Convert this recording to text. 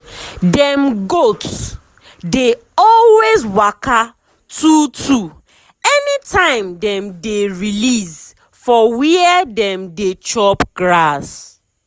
dem goat dey always waka two two anytime dem dey release for where dem dey chop grass.